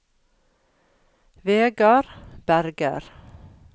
Vegard Berger